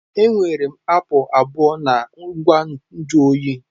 Enwere m apụl abụọ na ngwa nju oyi.